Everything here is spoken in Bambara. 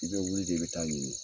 I bɛ wuli de bɛ taa ɲini.